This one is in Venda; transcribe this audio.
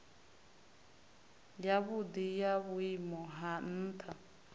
yavhudi ya vhuimo ha ntha